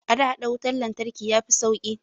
A da, haɗa wutar lantarki ya fi sauƙi